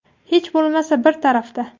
Hech bo‘lmasa, bir tarafda.